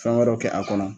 Fɛn wɛrɛw kɛ a kɔnɔ